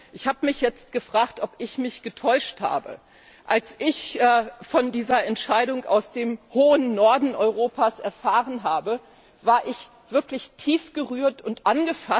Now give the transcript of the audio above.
Ich habe mich gefragt, ob ich mich getäuscht habe. Als ich von dieser Entscheidung aus dem hohen Norden Europas erfahren habe, war ich wirklich tief gerührt und ergriffen.